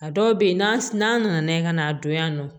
A dɔw bɛ yen n'a nana n'a ye ka n'a don yan nɔ